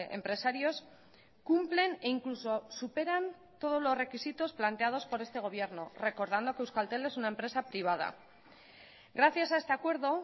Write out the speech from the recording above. empresarios cumplen e incluso superan todos los requisitos planteados por este gobierno recordando que euskaltel es una empresa privada gracias a este acuerdo